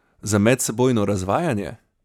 Za medsebojno razvajanje?